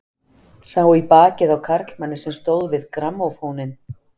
Sá í bakið á karlmanni sem stóð við grammófóninn.